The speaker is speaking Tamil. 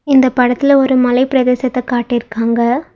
இந்த படத்துல ஒரு மலைப்பிரதேசத்த காட்டிருக்காங்க.